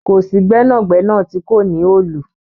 Kò sí gbẹnagbẹna tó kò ní òòlù.